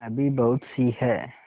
अभी बहुतसी हैं